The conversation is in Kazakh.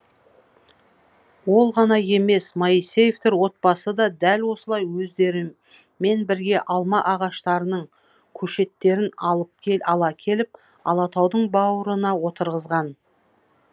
ол ғана емес моисеевтер отбасы да дәл осылай өздерімен бірге алма ағаштарының көшеттерін ала келіп алатаудың бауырына отырғызған